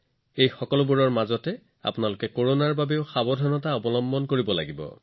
এই সকলোবোৰৰ মাজত আপোনালোকে কৰোনাৰ প্ৰতিও সতৰ্ক হব লাগিব